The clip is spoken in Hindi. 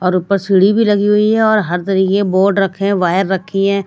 और ऊपर सीढ़ी भी लगी हुई है और हर तरीके के बोर्ड रखें हैं वायर रखी है।